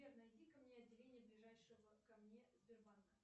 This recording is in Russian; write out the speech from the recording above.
сбер найди ка мне отделение ближайшего ко мне сбербанка